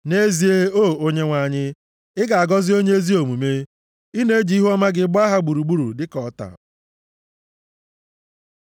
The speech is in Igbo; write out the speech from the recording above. Nʼezie, O Onyenwe anyị, ị na-agọzi onye ezi omume. Ị na-eji ihuọma gị gbaa ha gburugburu dịka ọta.